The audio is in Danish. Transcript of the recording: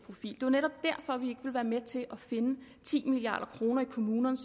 er med til at finde ti milliard kroner i kommunerne